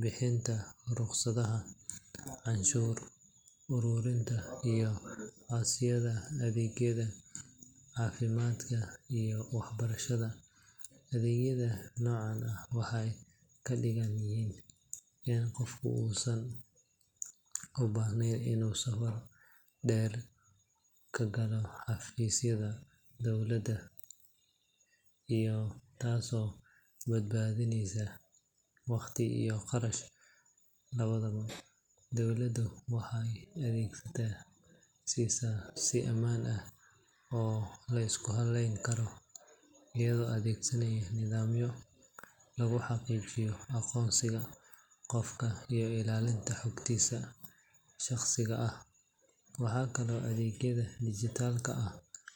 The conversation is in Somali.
bixinta rukhsadaha, canshuur uruurinta iyo codsiyada adeegyada caafimaadka iyo waxbarashada. Adeegyada noocan ah waxay ka dhigaan in qofku uusan u baahnayn inuu saf dheer ka galo xafiisyada dowladda, taasoo badbaadinaysa waqti iyo kharash labadaba. Dowladdu waxay adeegyadaas siisaa si ammaan ah oo la isku halleyn karo, iyadoo adeegsanaysa nidaamyo lagu xaqiijiyo aqoonsiga qofka iyo ilaalinta xogtiisa shaqsiga ah. Waxaa kaloo adeegyada dijitaalka ah ka mid ah.